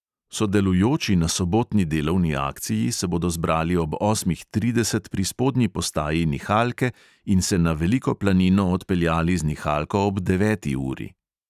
Sodelujoči na sobotni delovni akciji se bodo zbrali ob osmih trideset pri spodnji postaji nihalke in se na veliko planino odpeljali z nihalko ob deveti uri.